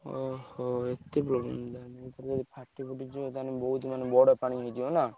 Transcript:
ଓହୋ! ଏତେ problem ବର୍ତ୍ତମାନ ବହୁତ୍ ମାନେ ବଡ ପାଣି ହେଇଯିବ ନା?